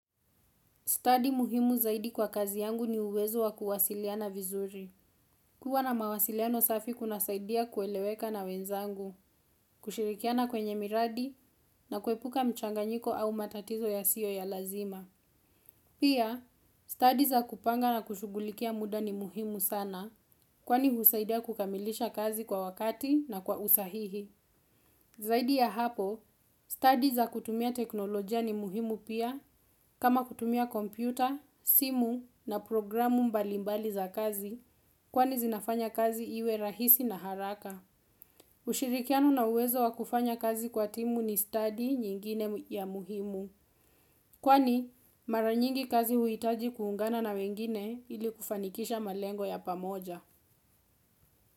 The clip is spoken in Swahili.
Study muhimu zaidi kwa kazi yangu ni uwezo wa kuwasiliana vizuri. Kuwa na mawasiliano safi kuna saidia kueleweka na wenzangu, kushirikiana kwenye miradi na kuepuka mchanganyiko au matatizo yasiyo ya lazima. Pia, study za kupanga na kushugulikia muda ni muhimu sana kwani husaidia kukamilisha kazi kwa wakati na kwa usahihi. Zaidi ya hapo, study za kutumia teknolojia ni muhimu pia kama kutumia kompyuta, simu na programu mbalimbali za kazi kwani zinafanya kazi iwe rahisi na haraka. Ushirikiano na uwezo wakufanya kazi kwa timu ni studi nyingine ya muhimu kwani maranyingi kazi huhitaji kuungana na wengine ili kufanikisha malengo ya pamoja.